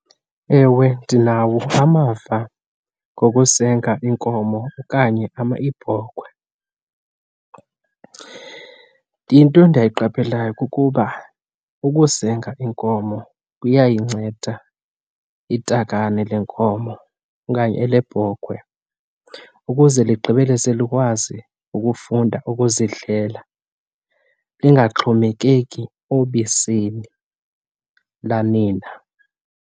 Ewe, ndinawo amava ngokusenga inkomo okanye iibhokhwe. Into endiyiqapheleyo kukuba ukusenga inkomo kuyayinceda itakane lenkomo okanye elebhokhwe ukuze ligqibele selikwazi ukufunda ukuzidlela, lingaxhomekeki obisini lanina.